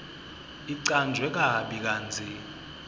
icanjwe kabi kantsi